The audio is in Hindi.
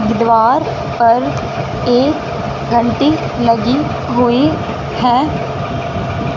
द्वार पर एक घंटी लगी हुई है।